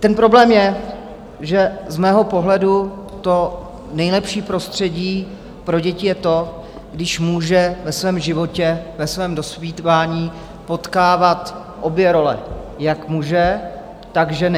Ten problém je, že z mého pohledu to nejlepší prostředí pro děti je to, když můžou ve svém životě, ve svém dospívání potkávat obě role - jak muže, tak ženy.